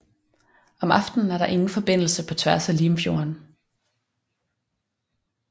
Om aftenen er der ingen forbindelse på tværs af Limfjorden